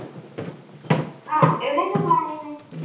അഹ് എവിടേക്കാ പ്ലാനെയ്യുന്നെ?